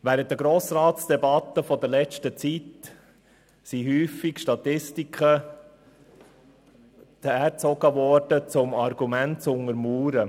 Während der Debatten des Grossen Rats wurden in letzter Zeit häufig Statistiken beigezogen, um Argumente zu untermauern.